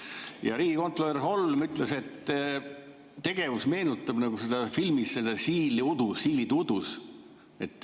Ja riigikontrolör Holm ütles, et tegevus meenutab filmi "Siil udus".